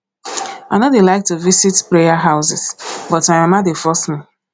i no dey like to visit prayer houses but my mama dey force me